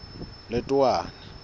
letowana